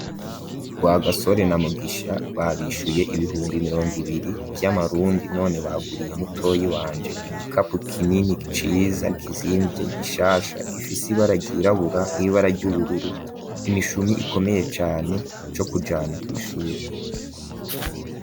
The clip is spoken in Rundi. Rwagasore na Mugisha babishuye ibihumbi mirongo ibiri vy'amarundi none baguriye mutoyi wanje igikapo kinini ciza kizimvye gishasha gifise ibara ryirabura n'ibara ry'ubururu, imishumi ikomeye cane co kujana kw'ishure.